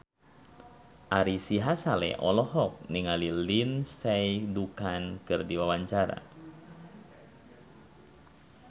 Ari Sihasale olohok ningali Lindsay Ducan keur diwawancara